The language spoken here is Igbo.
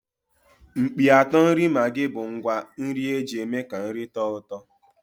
Mkpịatọ nri maggi bụ ngwá nri eji eme ka nri tọọ ụtọ.